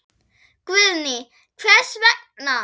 Guðný: Hvers vegna?